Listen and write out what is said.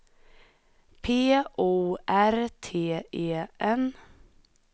P O R T E N